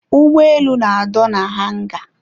Ụgbọelu na-adọ na hanga.